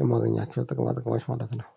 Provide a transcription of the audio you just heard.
የማገኛቸው ጥቅማ ጥቅማች ማለት ነው።